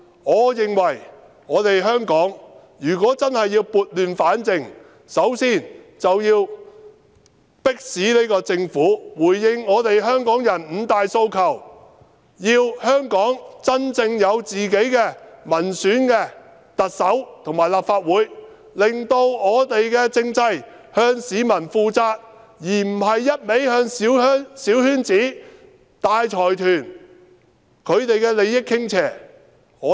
我認為香港如果真的要撥亂反正，首先便要迫使這個政府回應香港人的五大訴求，香港要有真正民選的特首和立法會議員，令政制向市民負責，而不是不斷向小圈子及大財團的利益傾斜。